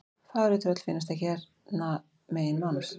Fegurri tröll finnast ekki hérna megin mánans.